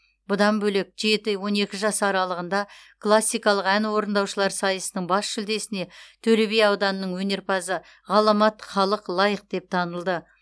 бұдан бөлек жеті он екі жас аралығында классикалық ән орындаушылар сайысының бас жүлдесіне төлеби ауданының өнерпазы ғаламат халық лайық деп танылды